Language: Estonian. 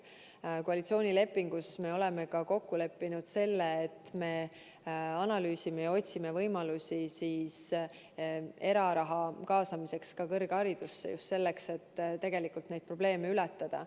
Me oleme koalitsioonilepingus kokku leppinud, et analüüsime ja otsime võimalusi kõrgharidusse eraraha kaasamiseks – just selleks, et neid probleeme ületada.